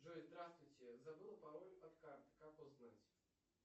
джой здравствуйте забыл пароль от карты как узнать